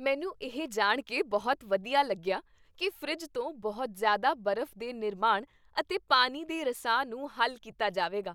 ਮੈਂ ਇਹ ਜਾਣ ਕੇ ਬਹੁਤ ਵਧੀਆ ਲੱਗਿਆ ਕੀ ਫਰਿੱਜ ਤੋਂ ਬਹੁਤ ਜ਼ਿਆਦਾ ਬਰਫ਼ ਦੇ ਨਿਰਮਾਣ ਅਤੇ ਪਾਣੀ ਦੇ ਰਸਾ ਨੂੰ ਹੱਲ ਕੀਤਾ ਜਾਵੇਗਾ